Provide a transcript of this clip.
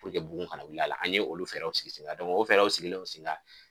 bugun kana wuli a la an ye olu fɛɛrɛw sigi senkan o fɛɛrɛw sigilen senkan